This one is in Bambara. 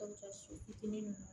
fitiinin